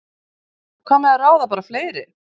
Hvað með að ráða bara fleiri?